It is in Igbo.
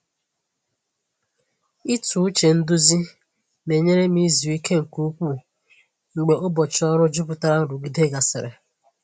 Ịtụ uche nduzi na-enyere m izu ike nke ukwuu mgbe ụbọchị ọrụ jupụtara nrụgide gasịrị.